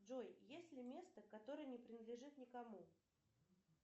джой есть ли место которое не принадлежит никому